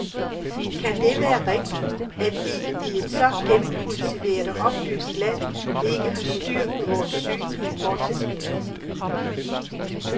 Kan det være rigtigt, at vi i et så gennemkultiveret og oplyst land ikke har styr på vore synlige fortidsminder?